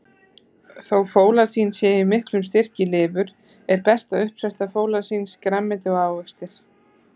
Þó fólasín sé í miklum styrk í lifur, er besta uppspretta fólasíns grænmeti og ávextir.